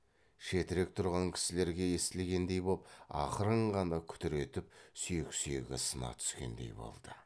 шетірек тұрған кісілерге естілгендей боп ақырын ғана күтір етіп сүйек сүйегі сына түскендей болды